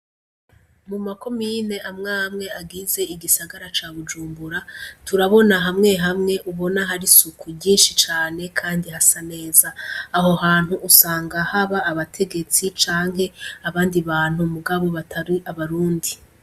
Mu ma komine amw'amwe agize igisara ca bujumbura, turabona hamwe hamwe ubona har'isuku ryinshi cane kandi hasa neza, aho hantu usanga hab'abategetsi canke abandi bantu mugabo batari abarundi.